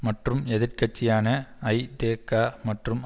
மற்றும் எதிர் கட்சியான ஐதேக மற்றும்